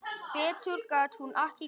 Betur gat hún ekki gert.